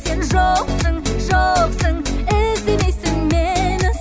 сен жоқсың жоқсың іздемейсің мені